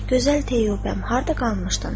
Gözəl Teyyubəm, harda qalmışdın?